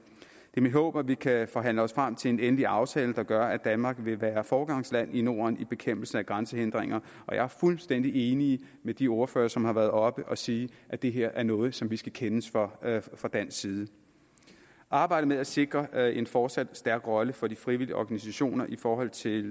er mit håb at vi kan forhandle os frem til en endelig aftale der gør at danmark vil være foregangsland i norden i bekæmpelsen af grænsehindringer og jeg er fuldstændig enig med de ordførere som har været oppe at sige at det her er noget som vi skal kendes for fra dansk side arbejdet med at sikre en fortsat stærk rolle for de frivillige organisationer i forhold til